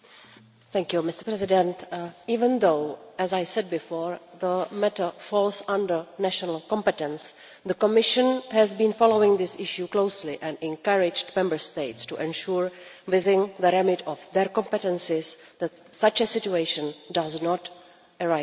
Mr President, even though, as I said before, the matter falls under national competence, the Commission has been following this issue closely and encouraged Member States to ensure, within the remit of their competences, that such a situation does not arise again.